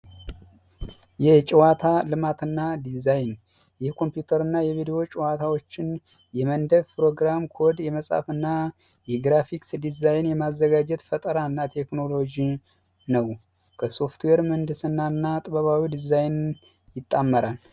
የጨዋታ ልማት እና ዲዛይን የኮምፒውተር የቪዲዮ ጨዋታዎችን የመንደፍ ፕሮግራም ኮድ የመፃፍ እና የግራፊክስ ዲዛይን የማዘጋጀት ፈጠራ እና ቴክኒዎሎጂ ነው። ከሶፍትዌር ምህንድስና እና ጥበባዊ ዲዛይን ይጣመራል።